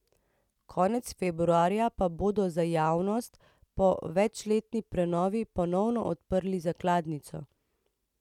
Konec februarja pa bodo za javnost po večletni prenovi ponovno odprli zakladnico.